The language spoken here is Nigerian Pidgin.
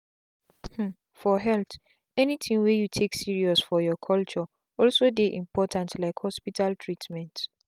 hmmmfor health anything wey you take serious for your culture also dey important like hospital treatment.